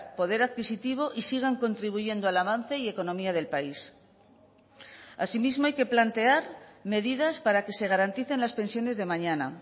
poder adquisitivo y sigan contribuyendo al avance y economía del país asimismo hay que plantear medidas para que se garanticen las pensiones de mañana